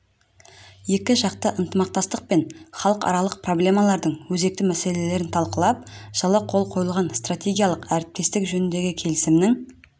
екіжақты ынтымақтастық пен халықаралық проблемалардың өзекті мәселелерін талқылап жылы қол қойылған стратегиялық әріптестік жөніндегі келісімнің